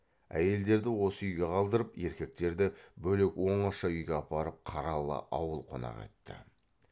әйелдерді осы үйге қалдырып еркектерді бөлек оңаша үйге апарып қаралы ауыл қонақ етті